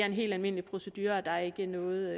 en helt almindelig procedure og der er ikke noget